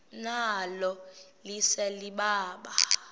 nalo lise libaha